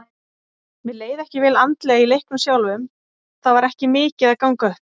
Mér leið ekki vel andlega í leiknum sjálfum, það var ekki mikið að ganga upp.